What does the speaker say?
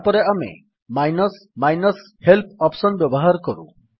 ତାପରେ ଆମେ minus minus help option ବ୍ୟବହାର କରୁ